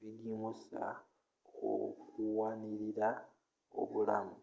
bigimusa okuwanilila obulamu